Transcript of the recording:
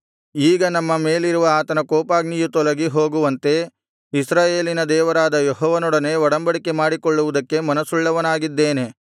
ಈಗ ನಮ್ಮ ಮೇಲಿರುವ ಆತನ ಕೋಪಾಗ್ನಿಯು ತೊಲಗಿ ಹೋಗುವಂತೆ ಇಸ್ರಾಯೇಲಿನ ದೇವರಾದ ಯೆಹೋವನೊಡನೆ ಒಡಂಬಡಿಕೆ ಮಾಡಿಕೊಳ್ಳುವುದಕ್ಕೆ ಮನಸ್ಸುಳ್ಳವನಾಗಿದ್ದೇನೆ